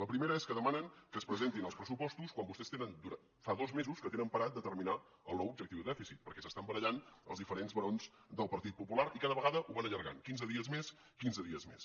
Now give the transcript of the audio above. la primera és que demanen que es presentin els pressupostos quan vostès fa dos mesos que tenen parat determinar el nou objectiu de dèficit perquè s’estan barallant els dife·rents barons del partit popular i cada vegada ho van allargant quinze dies més quinze dies més